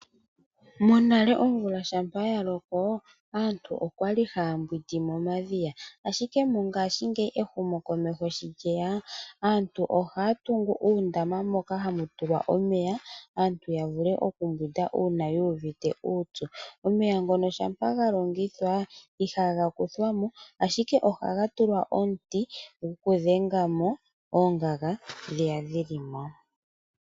Monale omvula shampa ya loko aantu okwa li haya mbwindi momadhiya. Ashike mongashingeyi ehumokomeho shi lyeya, aantu ohaa tungu uundama moka hamu tulwa omeya aantu ya vule okumbwinda uuna yu uvite uupyu. Omeya ngono shampa ga longithwa ihaga kuthwa mo, ashike ohaga tulwa omuti gwokudhenga mo oongaga ndhiya dhili mo.